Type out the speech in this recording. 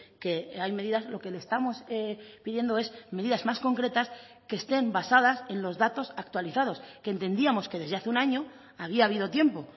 que hay medidas lo que le estamos pidiendo es medidas más concretas que estén basadas en los datos actualizados que entendíamos que desde hace un año había habido tiempo